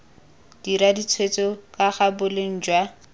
dira ditshwetso kaga boleng jwa